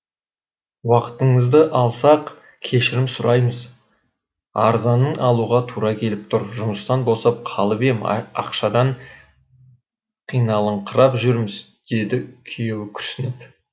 уақытыңызды алсақ кешірім сұраймыз арзанын алуға тура келіп тұр жұмыстан босап қалып ем ақшадан қиналыңқырап жүрміз деді күйеуі күрсініп